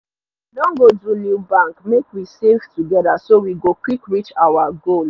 i don go do new bank make we save together so we go quick reach our goal